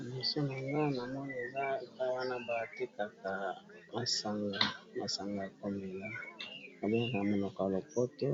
Liboso na nga na moni eza epa wana balatekaka masanga masanga ya komela abengaka ya monoko ya lopoto